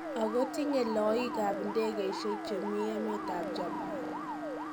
Agotinye loiig' ab ndegeisiek chemii emet ab Japan.